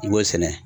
I b'o sɛnɛ